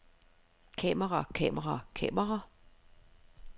kamera kamera kamera